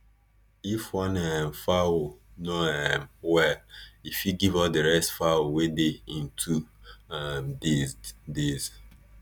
if one um fowl no um well e fit give all the rest fowl wey dey in two um days days